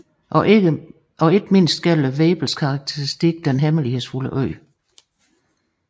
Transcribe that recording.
Og ikke mindst gælder Vebels karakteristik Den hemmelighedsfulde Ø